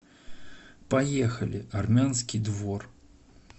поехали армянский двор